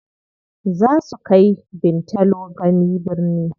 Zaa su kai Bintalo gani birni.